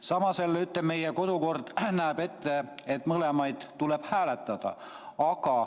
Samas meie kodukord näeb ette, et mõlemat tuleb hääletada.